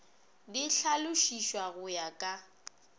di hlalošišwa go ya ka